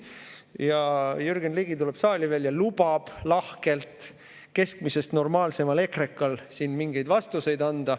Siis Jürgen Ligi tuleb veel saali ja lubab lahkelt keskmisest normaalsemal ekrekal siin mingeid vastuseid anda.